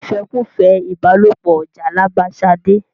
ìfẹ́kùfẹ́ ìbálòpọ jàlàbá Ṣadé.